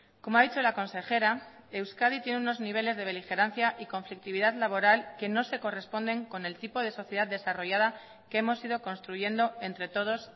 como ha dicho la consejera euskadi tiene unos niveles de beligerancia y conflictividad laboral que no se corresponden con el tipo de sociedad desarrollada que hemos ido construyendo entre todos